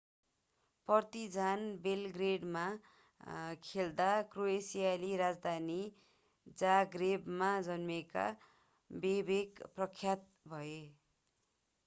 Partizan बेलग्रेडमा खेल्दा क्रोएसियाली राजधानी जाग्रेबमा जन्मेका बोबेक प्रख्यात भए